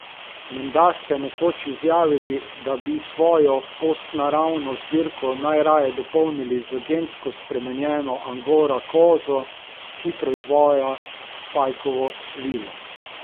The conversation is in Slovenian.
Menda ste nekoč izjavili, da bi svojo postnaravno zbirko najraje dopolnili z gensko spremenjeno angora kozo, ki proizvaja pajkovo svilo.